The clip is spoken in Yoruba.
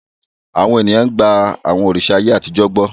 Àwọn ènìyàn gba àwọn òrìṣà ayé àtijọ́ gbọ́.